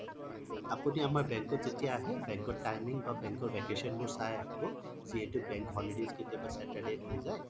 আপুনি আমাৰ bank ত যেতিয়া আহে bank ৰ timing বা bank ৰ vacation চাই আহিব যিহেটো bank holidays কেতিয়াবা Saturday হৈ যায়